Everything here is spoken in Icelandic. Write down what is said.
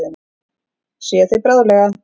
Sé þig bráðlega.